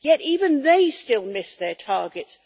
Yet even they still miss their targets.